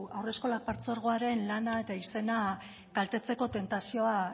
haurreskolak partzuergoaren lana eta izena kaltetzeko tentazioa